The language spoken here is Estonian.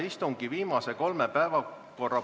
Siim Pohlak